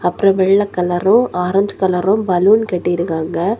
அப்ரோ வெள்ள கலரும் ஆரஞ்சு கலரும் பலூன் கட்டிருக்காங்க.